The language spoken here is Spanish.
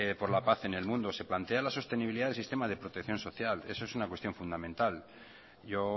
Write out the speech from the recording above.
por la paz en el mundo se plantea la sostenibilidad del sistema de protección social eso es una cuestión fundamental yo